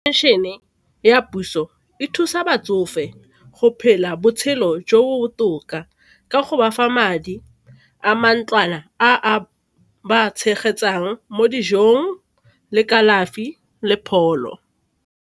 Pension-e ya puso e thusa batsofe go phela botshelo jo bo botoka ka go bafa madi a mantlwana a ba tshegetsang mo dijong le kalafi le pholo.